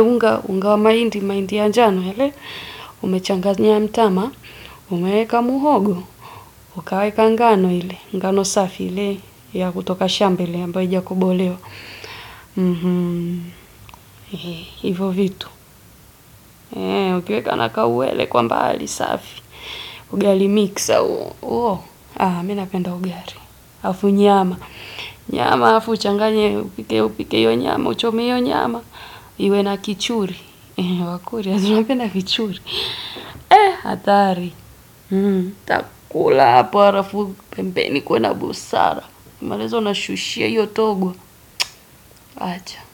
unga unga wa mahindi mahindi ya njano ule yamechanganywa na mtama Umeweka muhogo. Ukaweka ngano ile. Ngano safi ile. Ya kutoka shamba ile ambayo ijakobolewa. Hivo vitu. Ukieka na kauwele kwa mbali safi. Ugali miksa. Uo, haa, mi napenda ugari, afu nyama, nyama afu uchanganye, upike hiyo nyama, uchome hiyo nyama, iwe na kichuri, wakuria si unapenda kichuri. Atari, takula hapo, harafu pembeni kuwe na busara, ukimariza unashushia hiyo togo, acha.